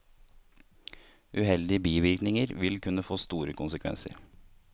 Uheldige bivirkninger vil kunne få store konsekvenser.